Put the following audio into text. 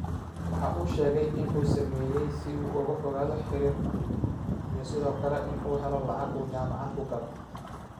Waxa uu sheegay in uu u sameeyay si uu uga fogaado xiriir xun, iyo sidoo kale in uu helo lacag uu jaamacad ku galo.